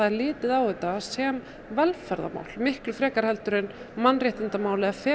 litið á þetta sem velferðarmál frekar en mannréttindamál eða